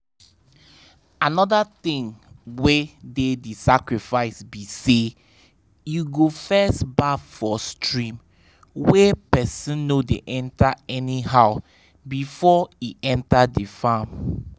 another thing wey dey the sacrifice be say you go first baff for stream wey person no dey enter anyhow before e enter the farm.